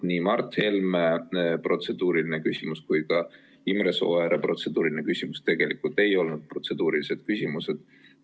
Nii Mart Helme protseduuriline küsimus kui ka Imre Sooääre protseduuriline küsimus tegelikult ei olnud protseduurilised küsimused.